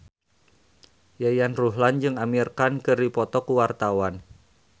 Yayan Ruhlan jeung Amir Khan keur dipoto ku wartawan